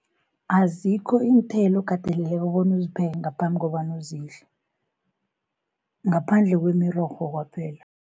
Azikho iinthelo okateleke bona uzipheke ngaphambi kobanu uzidle, ngaphandle kwemirorho kwaphela.